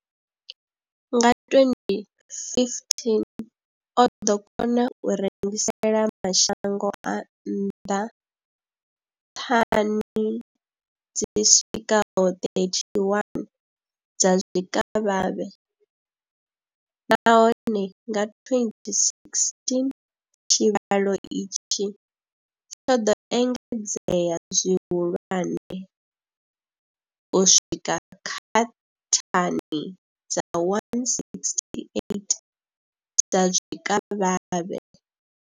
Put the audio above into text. Nga 2015, o ḓo kona u rengisela mashango a nnḓa thani dzi swikaho 31 dza zwikavhavhe, nahone nga 2016 tshivhalo itshi tsho ḓo engedzea zwihulwane u swika kha thani dza 168 dza zwikavhavhe.